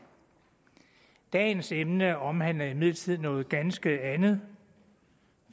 dagens emne omhandler imidlertid noget ganske andet